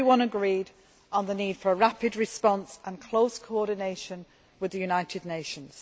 Everyone agreed on the need for a rapid response and close coordination with the United Nations.